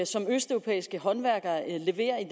som østeuropæiske håndværkere leverer i